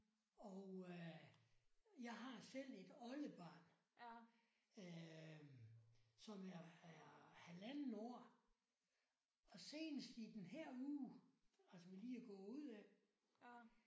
Og jeg har selv et oldebarn som er er halvandet år og senest i den her uge altså vi lige er gået ud af